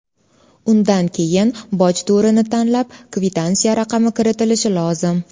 Undan keyin boj turini tanlab, kvitansiya raqami kiritilishi lozim.